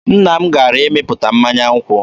Nna m gara ịmịpụta mmanya nkwụ.